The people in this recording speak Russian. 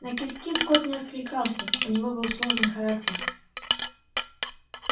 на кис кис кот не откликался у него был сложный характер